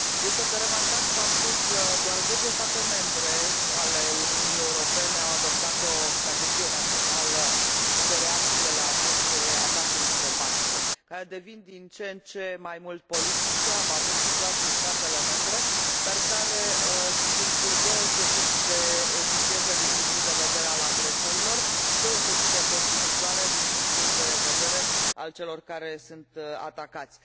Este de remarcat faptul că doar zece state membre ale Uniunii Europene au adoptat o strategie națională de reacție la aceste atacuri informatice, care devin din ce în ce mai mult politice, am avut situații în statele membre, dar care sunt deosebit de eficiente din punctul de vedere al agresorilor și deosebit de costisitoare din punctul de vedere al celor care sunt atacați.